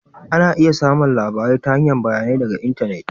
Ana iya samun bayanai ta hanyar labarai daga intanet